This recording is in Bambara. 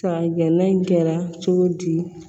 Ka gɛnɛ in kɛra cogo di